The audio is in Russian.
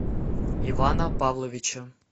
ивана павловича